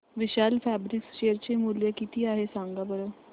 विशाल fabrics share चे मूल्य किती आहे सांगा बरं